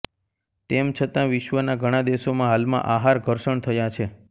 તેમ છતાં વિશ્વના ઘણા દેશોમાં હાલમાં આહાર ઘર્ષણ થયા છે